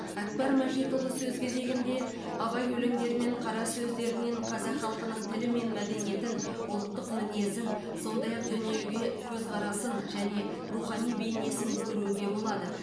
әкпар мәжитұлы сөз кезегінде абай өлеңдері мен қара сөздерінен қазақ халқының тілі мен мәдениетін ұлттық мінезін сондай ақ дүниеге көзқарасын және рухани бейнесін көруге болады